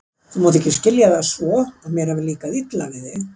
Þú mátt samt ekki skilja það svo, að mér hafi líkað illa við þig.